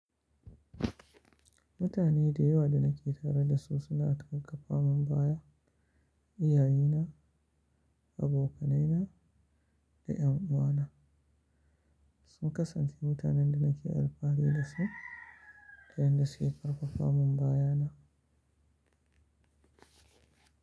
Mutane da yawa da nake tare da su suna karfafamin baya. Iyaye na, abokai na, da en’uwa na sun kasance mutanen da nake alfahari da su ta yadda su ke karfafamun baya na.